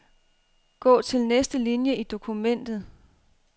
Gå til næste linie i dokumentet.